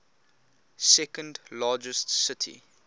second largest city